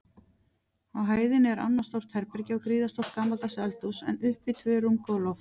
Á hæðinni er annað stórt herbergi og gríðarstórt gamaldags eldhús, en uppi tvö rúmgóð loft.